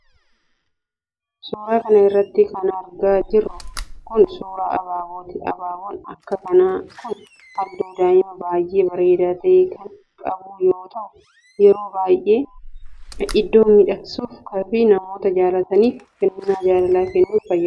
Suura kana irratti kan argaa jirru kun, suura abaabooti. Abaaboon akka kanaa kun, haalluu diimaa baay'ee bareedaa ta'e kan qabu yoo ta'u, yeroo baay'ee iddoo miidhagsuuf fi namoota jaalataniif kennaa jaalalaa kennuuf fayyadu.